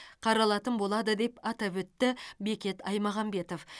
қаралатын болады деп атап өтті бекет аймағамбетов